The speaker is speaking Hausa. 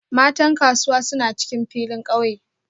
Matan Kasuwa suna cikin filin kauye